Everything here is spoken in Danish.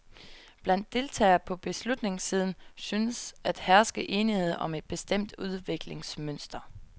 Blandt deltagere på beslutningssiden synes at herske enighed om et bestemt udviklingsmønster.